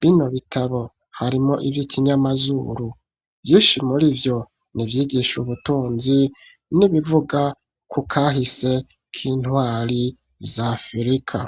bino bitabo harimo ivyo ikinyamazuru vyishi muri vyo nivyigisha ubutunzi n'ibivuga ku kahise ko intwari zafurika.